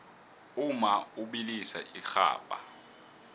umma ubilisa irhabha